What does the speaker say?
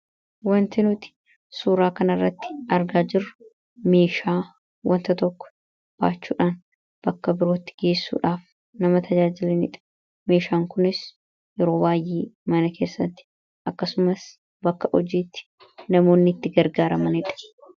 Wanti nuti suuraa kana irratti argaa jirru meeshaa wanta tokko baachuudhaan bakka tokkoo bakka biraatti geessuudhaaf nama tajaajilanidha. Meeshaan kunis yeroo baay'ee mana keessatti, akkasumas bakka hojiitti, namoonni itti gargaaramanidha.